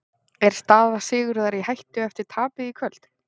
Er staða Sigurðar í hættu eftir tapið í kvöld?